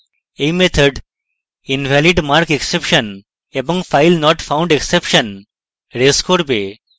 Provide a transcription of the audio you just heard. এই method invalidmarkexception এবং filenotfoundexception raise করবে